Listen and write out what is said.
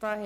FIN».